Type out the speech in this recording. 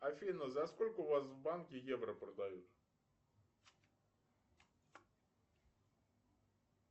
афина за сколько у вас в банке евро продают